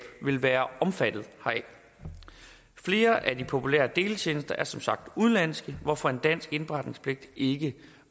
vil være omfattet heraf flere af de populære deletjenester er som sagt udenlandske hvorfor en dansk indberetningspligt ikke